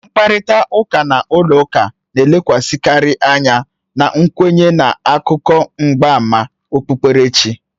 Mkparịta ụka n'ụlọ ụka na-elekwasịkarị anya na nkwenye na akụkọ mgbama okpukperechi